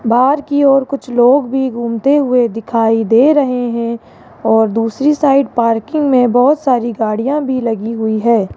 बाहर की ओर कुछ लोग भी घूमते हुए दिखाई दे रहे हैं और दूसरी साइड पार्किंग में बहुत सारी गाड़ियां भी लगी हुई है।